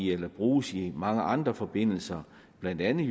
eller bruges i mange andre forbindelser blandt andet